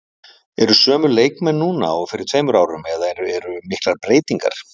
Eru sömu leikmenn núna og fyrir tveimur árum eða eru miklar breytingar?